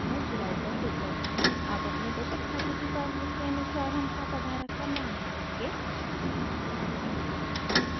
अब अपने बचत खाते की पासबुक के अनुसार हम खाता धारक का नाम भरेंगे